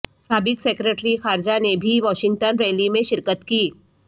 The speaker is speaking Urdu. سابق سیکریٹری خارجہ نے بھی واشنگٹن ریلی میں شرکت کی